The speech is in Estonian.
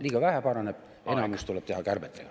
Liiga vähe paraneb, enamus tuleb teha kärbetega.